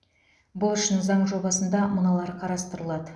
бұл үшін заң жобасында мыналар қарастырылады